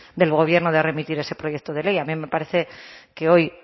del gobierno de remitir ese proyecto de ley a mí me parece que hoy